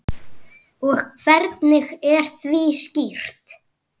Og hvernig því er stýrt.